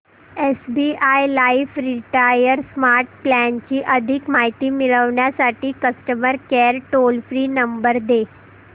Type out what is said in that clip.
SBI life retire smart plan ची अधिक माहिती मिळविण्यासाठी customer care toll free number दे